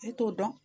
Ne t'o dɔn